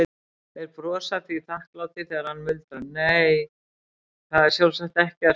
Þeir brosa því þakklátir þegar hann muldrar, nei, það er sjálfsagt ekkert.